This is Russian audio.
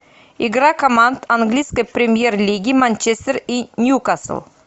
игра команд английской премьер лиги манчестер и ньюкасл